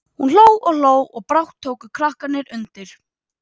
Hún hló og hló og brátt tóku krakkarnir undir.